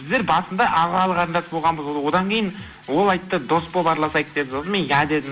біздер басында ағалы қарындас болғанбыз одан кейін ол айтты дос болып аралысайық деп сосын мен иә дедім